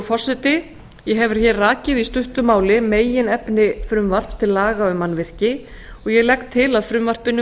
forseti ég hef hér rakið í stuttu máli meginefni frumvarps til laga um mannvirki og ég legg til að frumvarpinu